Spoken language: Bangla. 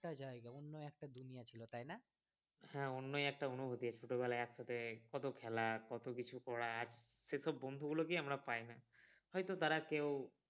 অন্য একটা জায়গা অন্য একটা দুনিয়া ছিল তাই না। হ্যাঁ অন্নই একটা অনুভূতি যে ছোটবেলা একসাথে কত খেলা কত কিছু করা সেসব বন্ধু গুলোকেই আমরা পাইনা হয়তো তারা কেউ